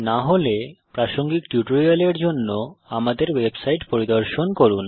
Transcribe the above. না হলে প্রাসঙ্গিক টিউটোরিয়ালের জন্য আমাদের ওয়েবসাইট পরিদর্শন করুন